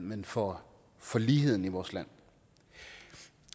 men for for ligheden i vores land